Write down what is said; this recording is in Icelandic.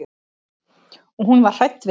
Og hún var hrædd við það.